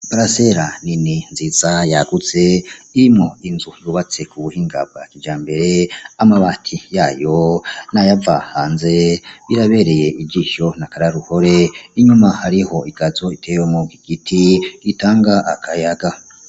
Parasela nini nziza yagutse irimwo inzu yubatse kubuhinga bwakijambere amabati yayo nayava hanze birabereye ijisho n'akararuhore inyuma hariho igazo itewemwo igiti gitanga akayaga.